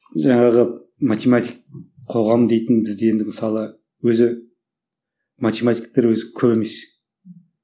жаңағы математик қоғам дейтін бізде енді мысалы өзі математиктер өзі көп емес